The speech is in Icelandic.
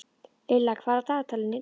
Lilla, hvað er á dagatalinu í dag?